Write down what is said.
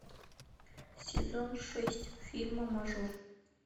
сезон шесть фильма мажор